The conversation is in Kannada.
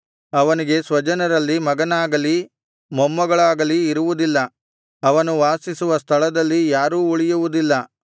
ಅವನಿಗೆ ಸ್ವಜನರಲ್ಲಿ ಮಗನಾಗಲಿ ಮೊಮ್ಮಗನಾಗಲಿ ಇರುವುದಿಲ್ಲ ಅವನು ವಾಸಿಸುವ ಸ್ಥಳದಲ್ಲಿ ಯಾರೂ ಉಳಿಯುವುದಿಲ್ಲ